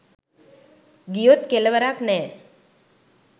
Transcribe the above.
ගියොත් කෙලවරක් නැ